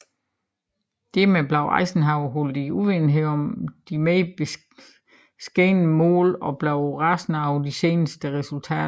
Dermed blev Eisenhower holdt i uvidenhed om de mere beskedne mål og blev rasende over de senere resultater